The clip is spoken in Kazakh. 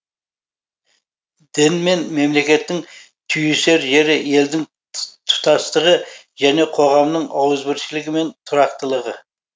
дін мен мемлекеттің түйісер жері елдің тұтастығы және қоғамның ауызбіршілігі мен тұрақтылығы